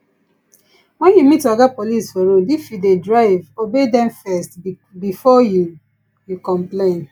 when you meet oga police for road if you dey drive obey dem first before you you complain